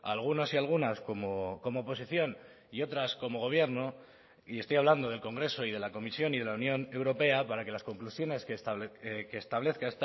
algunos y algunas como oposición y otras como gobierno y estoy hablando del congreso y de la comisión y de la unión europea para que las conclusiones que establezca